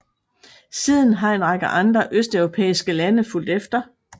Siden har en række andre østeuropæiske lande fulgt efter